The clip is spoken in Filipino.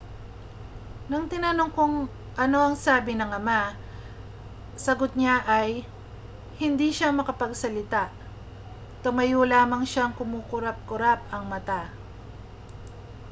nang tinanong kung ano ang sinabi ng ama sagot niya ay hindi siya makapagsalita tumayo lamang siyang kumukurap-kurap ang mata